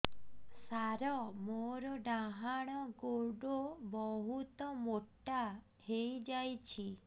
ସାର ମୋର ଡାହାଣ ଗୋଡୋ ବହୁତ ମୋଟା ହେଇଯାଇଛି